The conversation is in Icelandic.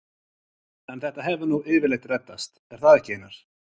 En þetta hefur nú yfirleitt reddast, er það ekki Einar?